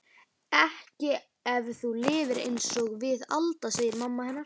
Ekki ef þú lifir einsog við Alda, segir mamma hennar.